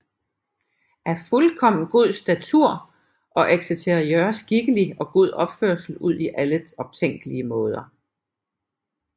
Af fuldkommen god Statur og Exterieur Skikkelig og god Opførsel udi alle optænkelige Maader